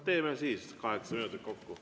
Teeme siis kaheksa minutit kokku.